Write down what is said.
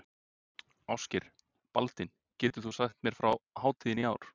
Ásgeir: Baldvin, getur þú sagt mér frá hátíðinni í ár?